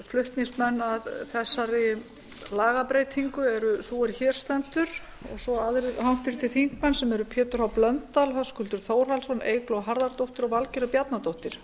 flutningsmenn að þessari lagabreytingu eru sú er hér stendur og svo aðrir háttvirtir þingmenn sem eru pétur h blöndal höskuldur þórhallsson eygló harðardóttir og valgerður bjarnadóttir